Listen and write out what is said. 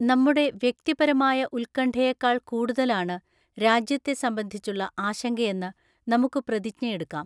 നമ്മുടെ വ്യക്തിപരമായ ഉത്കണ്ഠയെക്കാൾ കൂടുതലാണ് രാജ്യത്തെ സംബന്ധിച്ചുള്ള ആശങ്കയെന്ന് നമുക്ക് പ്രതിജ്ഞയെടുക്കാം.